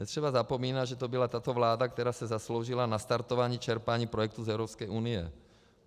Netřeba zapomínat, že to byla tato vláda, která se zasloužila o nastartování čerpání projektů z Evropské unie.